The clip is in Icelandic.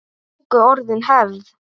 Röddin fer mér vel núna.